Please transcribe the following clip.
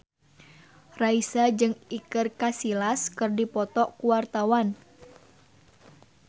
Raisa jeung Iker Casillas keur dipoto ku wartawan